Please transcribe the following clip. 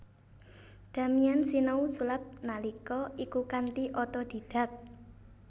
Damian sinau sulap nalika iku kanthi otodidak